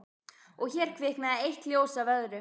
Og hér kviknaði eitt ljós af öðru